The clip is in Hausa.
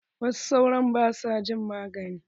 Wasu sauron ba sua jin magani.